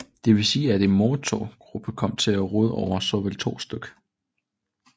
Det vil sige at en MOTOV gruppe kom til at råde over såvel to stk